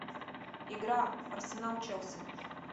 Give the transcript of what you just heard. игра арсенал челси